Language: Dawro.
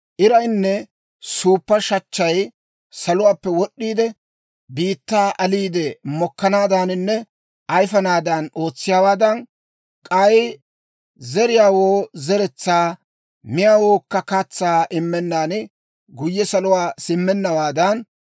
Iraynne suuppa shachchay saluwaappe wod'd'iide, biittaa aliide, mokkanaadaaninne ayifanaadan ootsiyaawaadan, k'ay zeriyaawoo zeretsaa, miyaawawukka katsaa immennan guyye saluwaa simmennawaadan,